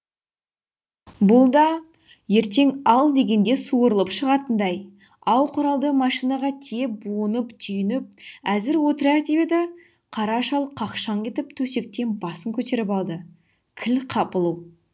бұ да ертең ал дегенде суырылып шығатындай ау құралды машинаға тиеп буынып түйініп әзір отырайық деп еді қара шал қақшаң етіп төсектен басын көтеріп алды кіл қапылу